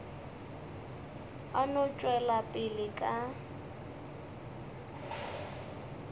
a no tšwela pele ka